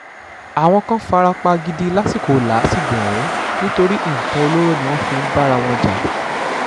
àwọn kan fara pa gidi lásìkò làásìgbò ọ̀hún nítorí nǹkan olóró ni wọ́n fi ń bára wọn jà